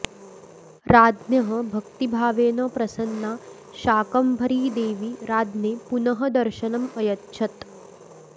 राज्ञः भक्तिभावेन प्रसन्ना शाकम्भरीदेवी राज्ञे पुनः दर्शनम् अयच्छत्